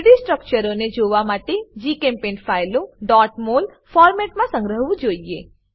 3ડી સ્ટ્રક્ચરો ને જોવા માટે જીચેમ્પેઇન્ટ ફાઈલો mol ફોરમેટમા સંગ્રહવું જોઈએ